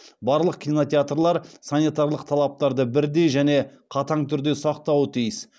барлық кинотеатрлар санитарлық талаптарды бірдей және қатаң түрде сақтауы тиіс